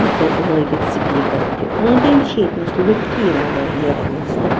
تہٕ لٲگِتھ سپیٖکر .تہِ أنٛدۍأنٛدۍچھ ییٚتۍنس لُکھ تہِ یِوان واریاہ بوزنہٕ